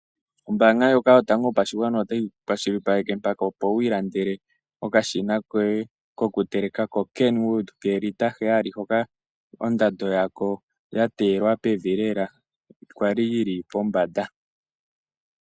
Ombaanga ndjoka yotango yopashigwana otayi kwashilipaleke mpaka opo wiilandele okashina koye kokuteleka hakiithanwa KenWood koolita heyali hono ondando yako yateelwa pevi lela sho kwali yili pombanda.